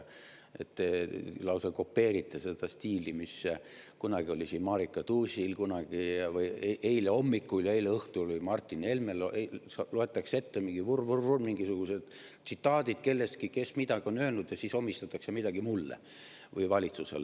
Te lausa kopeerite seda stiili, mis kunagi oli siin Marika Tuusil, eile hommikul ja eile õhtul oli Martin Helmel: loetakse ette, vurr-vurr-vurr, mingisugused tsitaadid kellestki, kes midagi on öelnud, ja siis omistatakse midagi mulle või valitsusele.